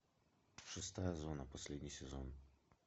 шестая зона последний сезон